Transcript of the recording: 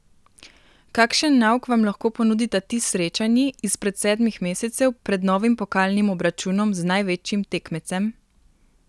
Kakšen nauk vam lahko ponudita ti srečanji izpred sedmih mesecev pred novim pokalnim obračunom z največjim tekmecem?